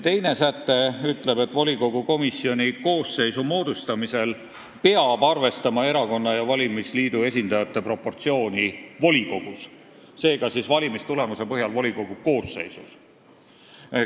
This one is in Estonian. Teine pakutud säte ütleb, et volikogu komisjoni koosseisu moodustamisel peab arvestama erakonna ja valimisliidu esindajate proportsiooni volikogus, seega siis valimistulemuse põhjal moodustatud volikogu koosseisus.